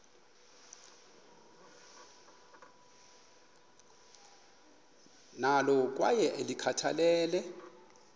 nalo kwaye ulikhathalele